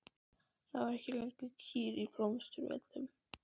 Þá voru ekki lengur kýr á Blómsturvöllum.